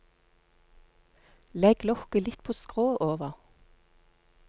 Legg lokket litt på skrå over.